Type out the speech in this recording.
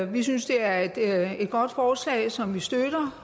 vi synes det er et godt forslag som vi støtter